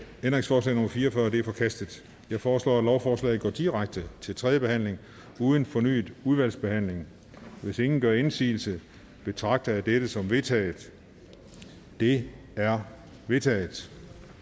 ændringsforslag nummer fire og fyrre er forkastet jeg foreslår at lovforslaget går direkte til tredje behandling uden fornyet udvalgsbehandling hvis ingen gør indsigelse betragter jeg det som vedtaget det er vedtaget